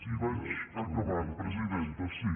i vaig acabant presidenta sí